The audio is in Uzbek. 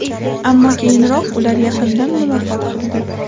Ammo keyinroq ular yaqindan muloqot qildi.